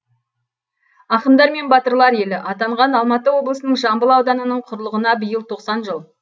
ақындар мен батырлар елі атанған алматы облысының жамбыл ауданының құрылғына биыл тоқсан жыл